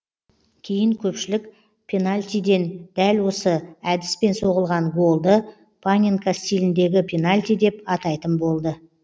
кейін көпшілік пенальтиден дәл осы әдіспен соғылған голды паненка стиліндегі пенальти деп атайтын болды